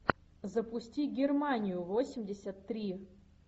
запусти германию восемьдесят три